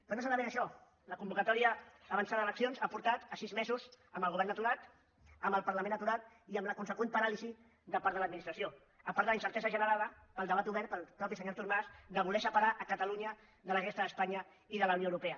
però no solament això la convocatòria avançada d’eleccions ha portat a sis mesos amb el govern aturat amb el parlament aturat i amb la consegüent paràlisi de part de l’administració a part de la incertesa generada pel debat obert pel mateix senyor artur mas de voler separar catalunya de la resta d’espanya i de la unió europea